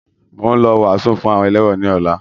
Mo ń lọ wàásù fún àwọn ẹlẹ́wọ̀n ni ọ̀la